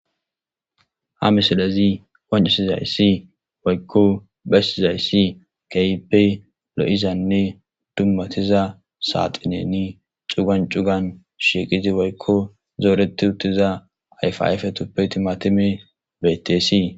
Ha missilezi qonccissizayssi woykko bessizaysi kehippe loizanne dummatiza saxinen cuggan cuggan shiqqidi woykko zooreti uttiza ayfa ayfetupe timmatimey bettes.